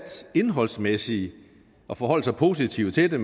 indholdsmæssigt at forholde sig positivt til det